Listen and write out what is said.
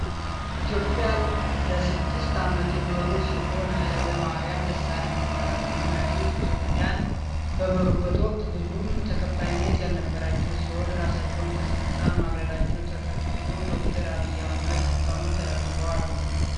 ኢትዮጵያ ለስድስት አመት የመሩ ሲሆኑ ሃይለማርያም ደሳለኝ ይባላሉ ይህ መሪ ኢትዮፕያን በመሩበት ወቅት ብዙም ተቀባይነት ያልነበራቸው ሲሆን ራሳቸውን ከስልጣን ማግለላቸውን ተከትሎ ዶክተር አብይ አህመድ ስልጠኑን ተረክበዋል።